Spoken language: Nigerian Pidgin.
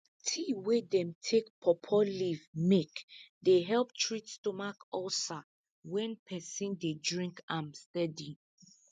tea wey dem take pawpaw leaf make dey help treat stomach ulcer wen peson dey drink am steady